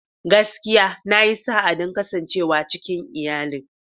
Gaskiya! Na yi sa'a don kasancewa cikin iyalin.